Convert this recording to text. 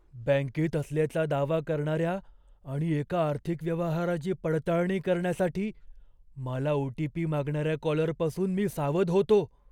बँकेत असल्याचा दावा करणाऱ्या आणि एका आर्थिक व्यवहाराची पडताळणी करण्यासाठी मला ओ. टी. पी. मागणाऱ्या कॉलरपासून मी सावध होतो.